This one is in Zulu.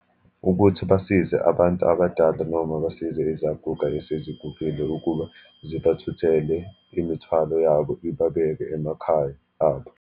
Ukuthi basize abantu abadala, noma basize izaguga esezigugile ukuba zibathuthele imithwalo yabo, iba beke emakhaya abo.